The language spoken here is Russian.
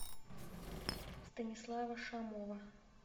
станислава шамова